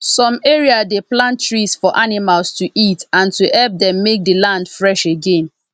som area dey plant trees for animals to eat and to hep dem make the land fresh again